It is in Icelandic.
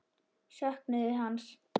Söknuðu hans.